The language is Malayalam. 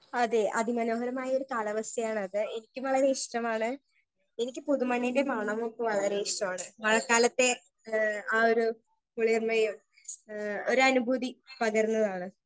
സ്പീക്കർ 1 അതെ അതിമനോഹരമായൊരു കാലാവസ്ഥയാണത് എനിക്കും വളരെ ഇഷ്ടമാണ് എനിക്ക് പുതു മണ്ണിന്റെ മണമൊക്കെ വളരെ ഇഷ്ടമാണ് മഴക്കാലത്തെ ഏ ആ ഒരു കുളിർമയും ഏ ഒരനുഭൂതി പകരുന്നതാണ്.